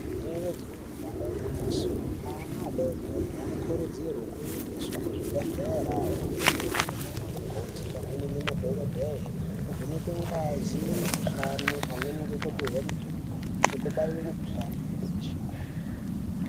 Rinenge jee damba igwinyiso, ana vadoodori vanokurudzirwa kuende kuzvibhedhlera, ondovhenekwa nanamukoti pamwe nemadhokodheya. Ovhenekwe ngazi ,mukhuhlani pamwe nekupuwa mitombo nekubaiwe mikhuhlani yebesha.